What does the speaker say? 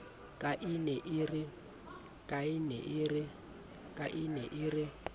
ka e ne e re